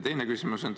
Teine küsimus on see.